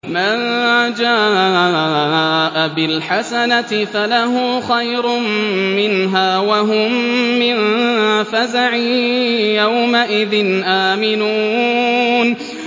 مَن جَاءَ بِالْحَسَنَةِ فَلَهُ خَيْرٌ مِّنْهَا وَهُم مِّن فَزَعٍ يَوْمَئِذٍ آمِنُونَ